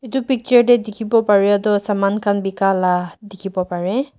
etu picture te dikhi bo pare toh saman khan bikai la dikhi bo pare.